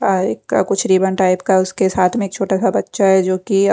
आ आ कुछ ribbon type का उसके साथ में एक छोटा सा बच्चा है जो की--